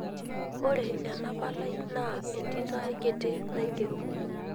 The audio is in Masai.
Ore ena palai naa entito ai kiti naigero.